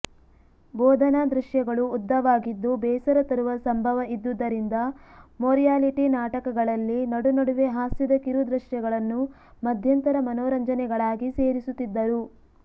ಬೋಧನಾ ದೃಶ್ಯಗಳು ಉದ್ದವಾಗಿದ್ದು ಬೇಸರ ತರುವ ಸಂಭವ ಇದ್ದುದರಿಂದ ಮೊರ್ಯಾಲಿಟಿ ನಾಟಕಗಳಲ್ಲಿ ನಡುನಡುವೆ ಹಾಸ್ಯದ ಕಿರುದೃಶ್ಯಗಳನ್ನು ಮಧ್ಯಂತರ ಮನೋರಂಜನೆಗಳಾಗಿ ಸೇರಿಸುತ್ತಿದ್ದರು